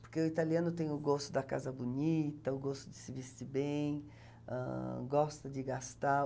Porque o italiano tem o gosto da casa bonita, o gosto de se vestir bem, ahn, gosta de gastar.